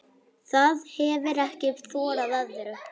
Það hefir ekki þorað öðru.